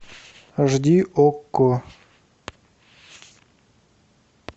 аш ди окко